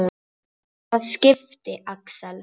Hvaða skipi, Axel?